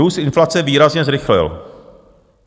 Růst inflace výrazně zrychlil.